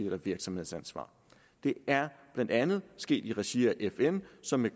eller virksomhedsansvar det er blandt andet sket i regi af fn som med